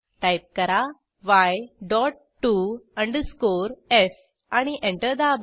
type करा y dot T O underscore F आणि enter दाबा